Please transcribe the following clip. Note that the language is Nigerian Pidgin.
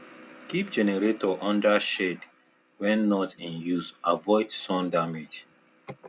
keep generator under shed when not in use avoid sun damage